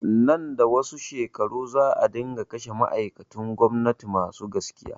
Nan da wasu shekaru za a dinga kashe ma'aikatun gwamnati masu gaskiya